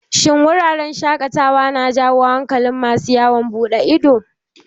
Shin wuraren shaƙatawa na jawo hankalin masu yawon buɗe ido?